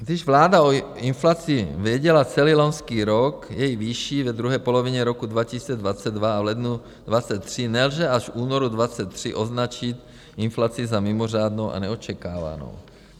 Když vláda o inflaci věděla celý loňský rok, její výši ve druhé polovině roku 2022 a v lednu 2023 nelze až v únoru 2023 označit inflaci za mimořádnou a neočekávanou.